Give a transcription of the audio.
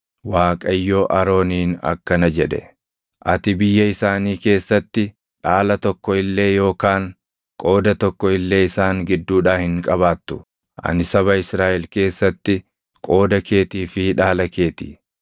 Waaqayyo Arooniin akkana jedhe; “Ati biyya isaanii keessatti dhaala tokko illee yookaan qooda tokko illee isaan gidduudhaa hin qabaattu; ani saba Israaʼel keessatti qooda keetii fi dhaala kee ti.